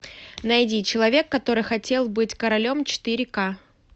найди человек который хотел быть королем четыре ка